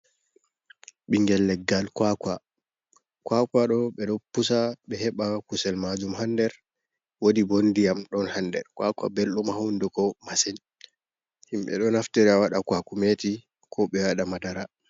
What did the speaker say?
Ɓingel leggal kwa kwa, kwa kwa ɗo ɓe ɗo pusa ɓe heɓa kusel majum ha nder, wodi bo ndiyam ɗon ha nder kwa kwa bellɗum ha hunduko masin, himɓe ɗo naftira waɗa kwakumeti ko ɓe waɗa madara.